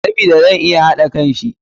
Sabida zai iya haɗa kanshi